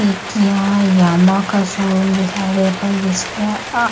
एक यहाँ यामाहा का शोरूम दिखाई दे रहा है जिसपे आ--